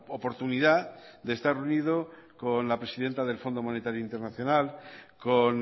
oportunidad de estar reunido con la presidenta del fondo monetario internacional con